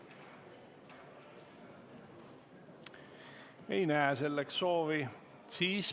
Aga ma ei näe selleks soovi.